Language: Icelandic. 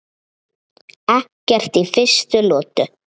Ekki í fyrstu lotu!